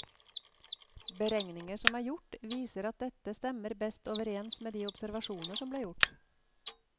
Beregninger som er gjort, viser at dette stemmer best overens med de observasjoner som ble gjort.